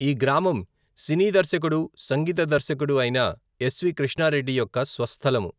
ఈ గ్రామం సినీ దర్శకుడు సంగీత దర్శకుడు అయిన ఎస్.వి.కృష్ణారెడ్డి యొక్క స్వస్థలము.